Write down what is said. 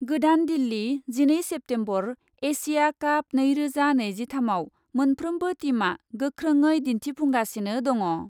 गोदान दिल्ली, जिनै September, Asia काप नैरोजा नैजिथामआव मोनफ्रोमबो टीमआ गोख्रोङै दिन्थिफुंगासिनो दङ।